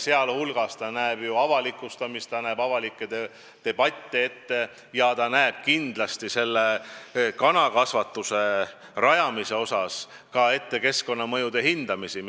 See näeb ette avalikustamist, näeb ette avalikke debatte ja selle kanakasvatuse rajamise korral ka ette keskkonnamõjude hindamist.